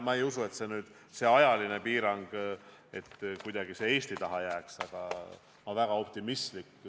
Ma ei usu, et see kuidagi Eesti taha seisma jääb.